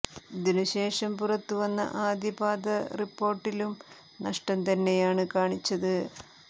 ഇതിനു ശേഷം പുറത്തുവന്ന ആദ്യ പാദ റിപ്പോർട്ടിലും നഷ്ടം തന്നെയാണ് കാണിച്ചത്